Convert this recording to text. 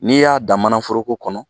N'i y'a da mana foroko kɔnɔ